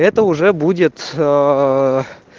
это уже будет аа